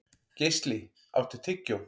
Geisli, áttu tyggjó?